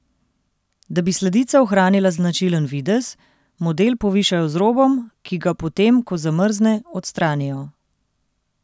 Da bi sladica ohranila značilen videz, model povišajo z robom, ki ga potem, ko zamrzne, odstranijo.